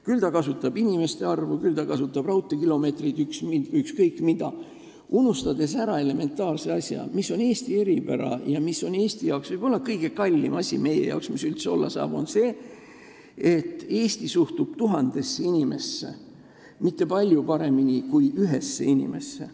Küll ta kasutab inimeste arvu, küll ta kasutab raudteekilomeetreid – ükskõik mida –, unustades ära elementaarse asja, mis on Eesti eripära ja mis on Eesti jaoks võib-olla kõige kallim asi, mis üldse olla saab: et Eesti suhtub tuhandesse inimesse mitte palju paremini kui ühte inimesse.